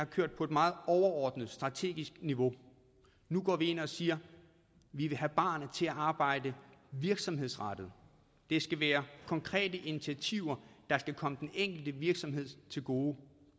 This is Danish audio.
kørt på et meget overordnet strategisk niveau nu går vi ind og siger vi vil have barerne til at arbejde virksomhedsrettet det skal være konkrete initiativer der skal komme den enkelte virksomhed til gode